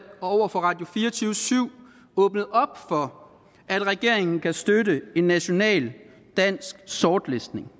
og over for radio24syv åbnet op for at regeringen kan støtte en national dansk sortlistning